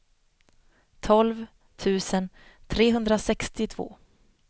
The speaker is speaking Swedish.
tolv tusen trehundrasextiotvå